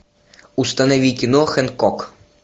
установи кино хэнкок